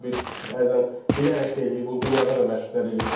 Çıxacaqlar bir bəzən bilərək də eləyir, bunu dünyada da məşqçilər eləyir.